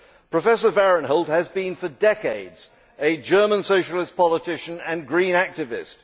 Professor Vahrenholt has been for decades a German socialist politician and green activist.